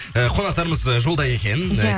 э қонақтарымыз жолда екен иә